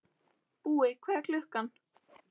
Búi, hvað er klukkan?